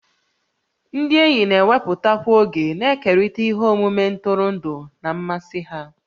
Ndị enyi na-ewepụtakwa oge na-ekerịta ihe omume ntụrụndụ na mmasị ha